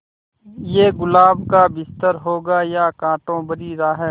ये गुलाब का बिस्तर होगा या कांटों भरी राह